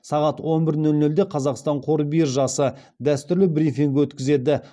сағат он бір нөл нөлде қазақстан қор биржасы дәстүрлі брифинг өткізеді